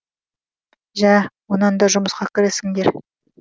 жә онан да жұмысқа кірісіңдер